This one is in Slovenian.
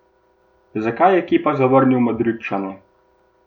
Zakaj je Kepa zavrnil Madridčane?